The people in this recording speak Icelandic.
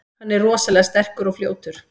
Hann er rosalega sterkur og fljótur.